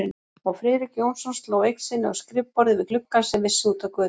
Og Friðrik Jónsson sló eign sinni á skrifborðið við gluggann sem vissi út að götu.